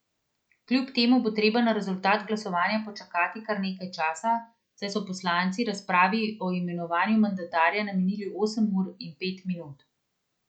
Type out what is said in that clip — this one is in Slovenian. Kljub temu bo treba na rezultat glasovanja počakati kar nekaj časa, saj so poslanci razpravi o imenovanju mandatarja namenili osem ur in pet minut.